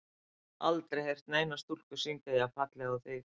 Ég hef aldrei heyrt neina stúlku syngja jafn fallega og þig.